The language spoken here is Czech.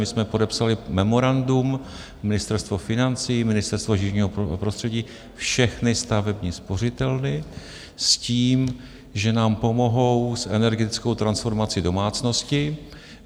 My jsme podepsali memorandum, Ministerstvo financí, Ministerstvo životního prostředí, všechny stavební spořitelny, s tím že nám pomohou s energetickou transformací domácností.